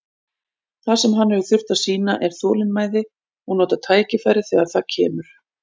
Það sem hann hefur þurft að sýna er þolinmæði og nota tækifærið þegar það kemur.